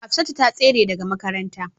Hafsatu ta tsere daga makaranta